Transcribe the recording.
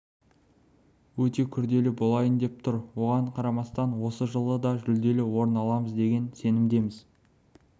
өте күрделі болайын деп тұр оған қарамастан осы жылы да жүлделі орын аламыз деген сенімдеміз